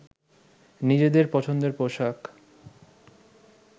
নিজেদের পছন্দের পোশাক